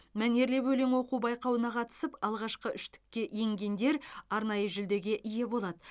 мәнерлеп өлең оқу байқауына қатысып алғашқы үштікке енгендер арнайы жүлдеге ие болады